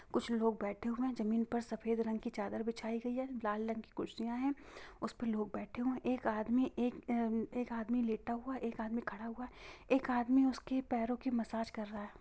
कुछ लोग बैठे हुए है| जमीन पर सफेद रंग की चाद्दर बिछाई गई है| लाल रंग की कुर्सिया है| उसे पे लोग बैठे हुए है | एक आदमी एक लेटा हूआ है एक आदमी खड़ा हूआ है| एक आदमी उसके पैरों की मसाज कर रहा है।